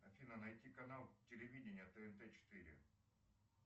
афина найти канал телевидения тнт четыре